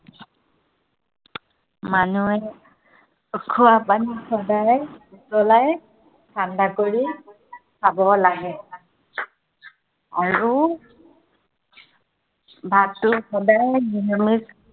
মানুহে খোৱা পানী সদায় উতলাই ঠাণ্ডা কৰি, খাব লাগে। আৰু ভাতটো সদায় নিৰামিষ